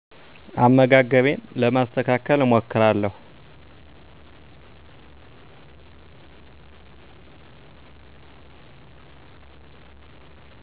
አመጋገቤን ለማስተካከል እሞክራለሁ